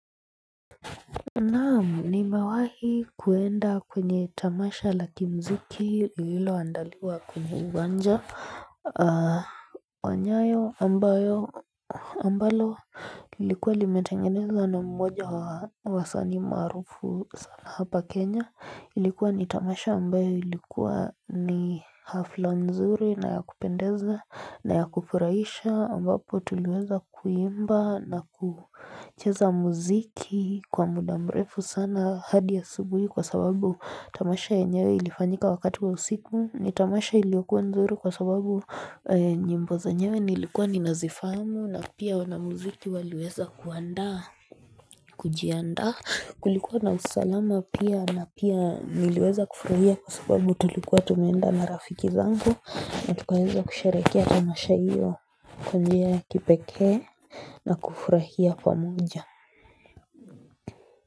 Naam, nimewahi kwenda kwenye tamasha la kimuziki lililoandaliwa kwenye uwanja. Wa nyayo ambalo ilikuwa limetengenezwa na mmoja wa wasanii maarufu sana hapa Kenya. Ilikuwa ni tamasha ambayo ilikuwa ni hafla nzuri na ya kupendeza na ya kufurahisha, ambapo tuliweza kuimba na kucheza muziki kwa muda mrefu sana hadi asubuhi, kwa sababu tamasha lenyewe lilifanyika wakati wa usiku. Tamasha ilikuwa nzuri kwa sababu nyimbo zenyewe nilikuwa nazifahamu, na pia wanamuziki waliweza kujiandaa Kulikuwa na usalama pia, na niliweza kufurahia kwa sababu tulikuwa tumeenda na rafiki zangu na tukaweza kusherehekea tamasha hiyo. Kwa njia ya kipekee na kufurahia pamoja.